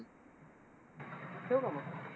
ठेऊ का मग?